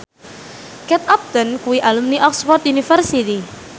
Kate Upton kuwi alumni Oxford university